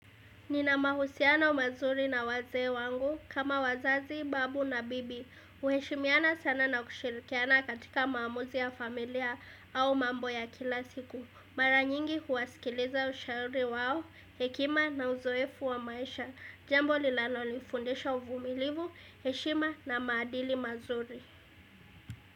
Ninamahusiano mazuri na wazee wangu kama wazazi, babu na bibi. Uheshimiana sana na kushirikiana katika maamuzi ya familia au mambo ya kila siku. Mara nyingi huwasikiliza ushauri wao, hekima na uzoefu wa maisha. Jambo lilanonifundisha uvumilivu, heshima na maadili mazuri.